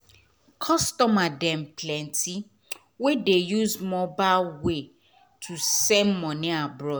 customer dem plenty wey dey use mobile way to send moni abroad